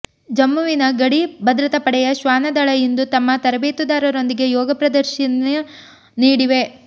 ಜಮ್ಮುವಿನ ಗಡಿ ಭದ್ರತಾ ಪಡೆಯ ಶ್ವಾನದಳ ಇಂದು ತಮ್ಮ ತರಬೇತುದಾರರೊಂದಿಗೆ ಯೋಗ ಪ್ರದರ್ಶಿನ ನೀಡಿವೆ